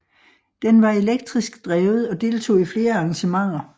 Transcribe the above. Den var elektrisk drevet og deltog i flere arrangementer